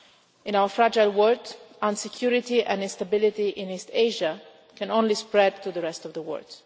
In our fragile world, insecurity and instability in East Asia can only spread to the rest of the world.